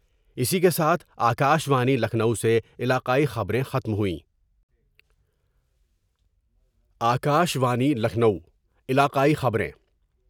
اس کے ساتھ آ کاشوانی لکھنؤ سے علاقائی خبر میں ختم ہوئیں۔ آ کاشوانی لکھنؤ علاقائی خبریں